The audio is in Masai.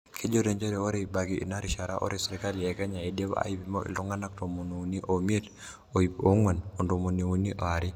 Kejoito njere ore ebaiki enarishara ore serikali eKnya idima aipimo ltunganak tomon iuni omiet, ip onguan otomon iuni oare.